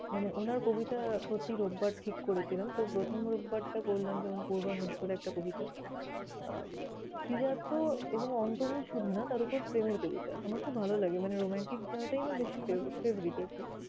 মানে উনার কবিতা প্রতি রোববার ঠিক করেছিলাম। তো প্রথম রোববার তা করলাম যেমন, পূর্বাভাস বলে একটা কবিতা। আহ শ্রীজাত এবং অন্ত্যমিল শুধু না, তার ওপর প্রেমের কবিতা। আমার খুব ভালো লাগে মানে romantic জায়গাটাই আমার বেশি favourite আরকি।